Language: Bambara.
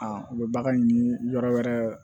u bɛ bagan ɲini yɔrɔ wɛrɛ